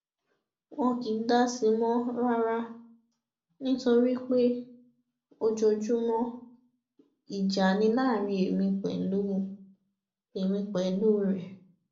wọn kì í dá sí i mọ rárá nítorí pé ojoojúmọ ìjà ni láàrin èmi pẹlú èmi pẹlú rẹ